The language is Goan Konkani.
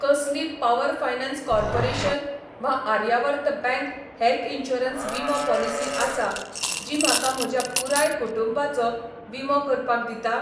कसली पॉवर फायनान्स कॉर्पोरेशन वा आर्यावर्त बँक हेल्थ इन्शुरन्स विमो पॉलिसी आसा जी म्हाका म्हज्या पुराय कुटुंबाचो विमो करपाक दिता?